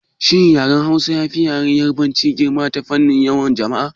Shin yaren Hausa yafi Yarabanci girma ta fannin yawan jama'a?